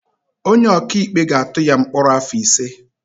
Onye ọkaikpe ga-atụ ya mkpọrọ afọ ise.